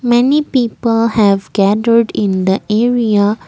many people have gathered in the area.